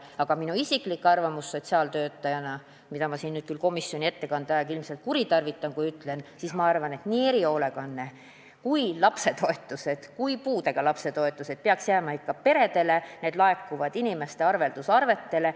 Aga minu isiklik arvamus sotsiaaltöötajana, mida ma siin nüüd küll komisjoni ettekandja aega ilmselt kuritarvitades ütlen, on see, et nii erihoolekanne, lapsetoetused kui ka puudega lapse toetused peaks jääma ikka peredele, need laekuvad inimeste arvelduskontodele.